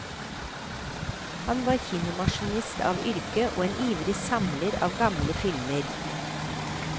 Han var kinomaskinist av yrke, og en ivrig samler av gamle filmer.